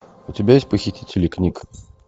у тебя есть похитители книг